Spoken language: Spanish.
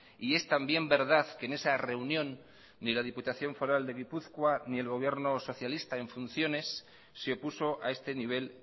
y es también verdad que en esa reunión ni la diputación foral de gipuzkoa ni el gobierno socialista en funciones se opuso a este nivel